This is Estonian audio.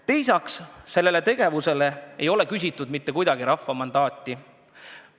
Teiseks, sellele tegevusele ei ole küsitud rahva mandaati.